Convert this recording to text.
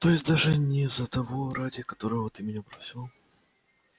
то есть даже не за того ради которого ты меня бросила